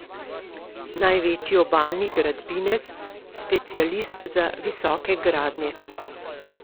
Največji obalni gradbinec, specialist za visoke gradnje.